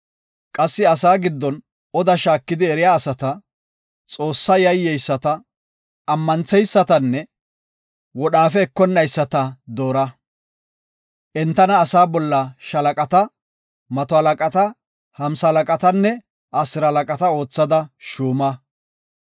Qassi asaa giddon oda shaakidi eriya asata, Xoossaa yayyeyisata, ammantheysatanne wodhaafe ekonnaysati doora. Entana asaa bolla shaalaqata, mato halaqata, hamsalaqatanne asiralaqata oothada shuuma.